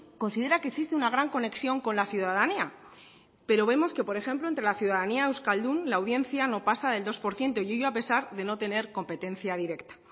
considera que existe una gran conexión con la ciudadanía pero vemos que por ejemplo entre la ciudadanía euskaldun la audiencia no pasa del dos por ciento y ello a pesar de no tener competencia directa